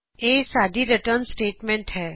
ਅਤੇ ਇਹ ਸਾਡੀ ਰਿਟਰਨ ਸਟੇਟਮੈਂਟ ਹੈ